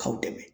K'aw dɛmɛ